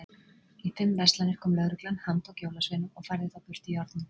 Í fimm verslanir kom lögreglan, handtók jólasveina og færði þá burt í járnum.